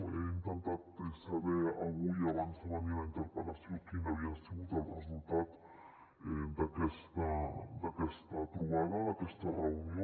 he intentat saber avui abans de venir a la interpel·lació quin havia sigut el resultat d’aquesta trobada d’aquesta reunió